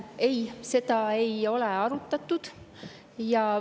Ei, seda ei ole arutatud.